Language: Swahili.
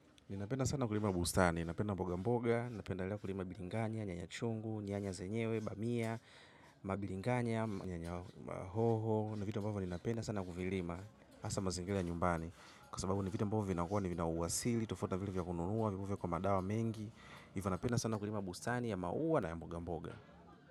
Ninapenda sana kulima bustani, ninapenda mboga mboga, ninapendelea kulima biringanya, nyanya chungu, nyanya zenyewe, bamia, mabiringanya, nyanya hoho. Ni vitu mbavo ninapena sana kulima hasa mazingira ya nyumbani. Kwa sababu ni vitu ambavo vinakuwa, vina uwasili, tufauti na vile vya kununua, vinakuwa na madawa mengi. Hivyo napenda sana kulima bustani ya maua na mboga mboga.